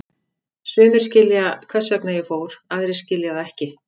Sumir skilja hvers vegna ég fór, aðrir skilja það ekki.